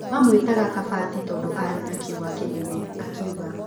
Mamũĩtaga kabati tondũ aarĩ na kĩũga kĩnene’’ akiuga